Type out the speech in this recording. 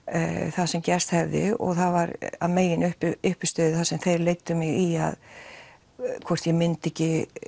það sem gerst hafði og það var að megin uppistöðu það sem þeir leiddu mig í hvort ég myndi ekki